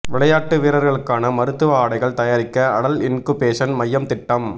விளையாட்டு வீரர்களுக்கான மருத்துவ ஆடைகள் தயாரிக்க அடல் இன்குபேஷன் மையம் திட்டம்